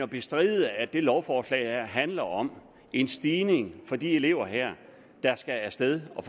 bestride at det lovforslag her handler om en stigning for de elever her der skal af sted og